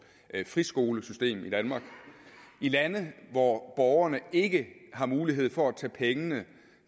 friskolesystem i danmark i lande hvor borgerne ikke har mulighed for at tage pengene